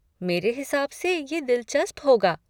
मेरे हिसाब से ये दिलचस्प होगा।